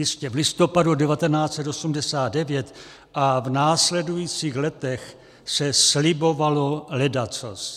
Jistě, v listopadu 1989 a v následujících letech se slibovalo ledacos.